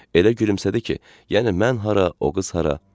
Elə gülümsədi ki, yəni mən hara, o qız hara?